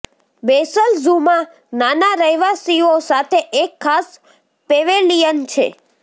Bessel ઝૂમાં નાના રહેવાસીઓ સાથે એક ખાસ પેવેલિયન છે